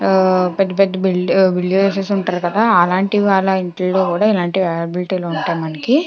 పెద్ద పెద్ద బిలీనిర్స్ ఉంటారు కదా అలంటి వాళ్ళ ఇళ్లలో కూడా అవైలబిలిటీ గ ఉంటాయి మనకి.